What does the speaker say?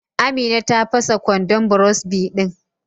Amina ta fasa kwandon burosbi din.